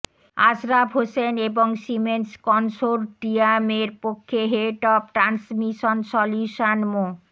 আশরাফ হোসেন এবং সিমেন্স কনসোর্টিয়ামের পক্ষে head of transmission solution Md